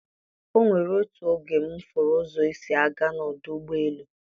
O nwere otu oge m furu ụzọ esi a ga n'ọdụ ụgbọ elu.